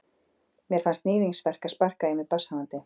Mér fannst níðingsverk að sparka í mig barnshafandi.